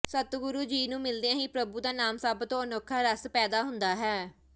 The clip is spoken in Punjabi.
ਸਤਿਗੁਰੂ ਜੀ ਨੂੰ ਮਿਲਦਿਆਂ ਹੀ ਪ੍ਰਭੂ ਦਾ ਨਾਮ ਸਭ ਤੋਂ ਅਨੋਖਾ ਰਸ ਪੈਦਾ ਹੁੰਦਾ ਹੈ